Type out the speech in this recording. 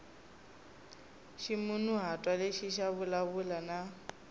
ximunhuhatwa lexi xi vulavula na